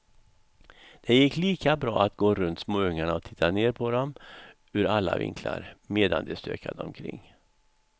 Det gick lika bra att gå runt småungarna och titta ner på dem ur alla vinklar, medan de stökade omkring.